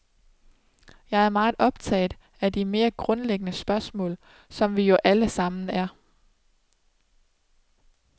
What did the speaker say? Jeg er meget optaget af de mere grundlæggende spørgsmål, som vi jo alle sammen er.